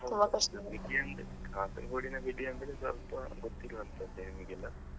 Kasaragod ನ ಬೆಡಿ ಅಂದ್ರೆ ಸ್ವಲ್ಪ ಗೊತ್ತಿರುವಂತದ್ದೇ ನಿಮ್ಗೆಲ್ಲಾ.